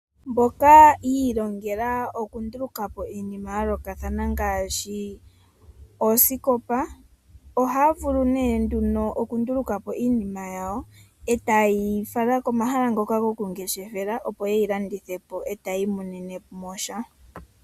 Aantu mboka yiilongela oku ndulukapo iinima ya yoolokathana ngaashi osikopa. Ohaa vulu nee nduno oku ndulukapo iinima yawo e ta yeyi fala komahala ngoka gomangeshefelo opo ye yi landithepo yo oyiimonene iimaliwa yawo.